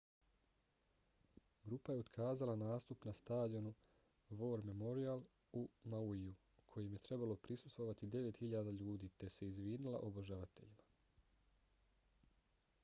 grupa je otkazala nastup na stadionu war memorial u mauiju kojem je trebalo prisustvovati 9.000 ljudi te se izvinila obožavateljima